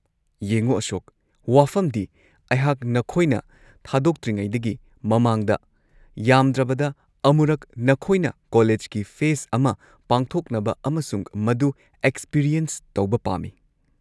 ꯌꯦꯡꯉꯨ ꯑꯁꯣꯛ, ꯋꯥꯐꯝꯗꯤ ꯑꯩꯍꯥꯛ ꯅꯈꯣꯏꯅ ꯊꯥꯗꯣꯛꯇ꯭ꯔꯤꯉꯩꯗꯒꯤ ꯃꯃꯥꯡꯗ ꯌꯥꯝꯗ꯭ꯔꯕꯗ ꯑꯃꯨꯔꯛ ꯅꯈꯣꯏꯅ ꯀꯣꯂꯦꯖꯀꯤ ꯐꯦꯁꯠ ꯑꯃ ꯄꯥꯡꯊꯣꯛꯅꯕ ꯑꯃꯁꯨꯡ ꯃꯗꯨ ꯑꯦꯛꯁꯄꯤꯔꯤꯑꯦꯟꯁ ꯇꯧꯕ ꯄꯥꯝꯃꯤ꯫